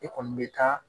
E kɔni bɛ taa